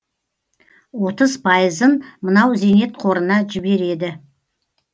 отыз пайызын мынау зейнетқорына жібереді